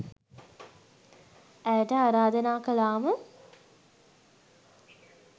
ඇයට ආරාධනා කළාම